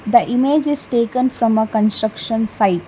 the images taken from a construction site.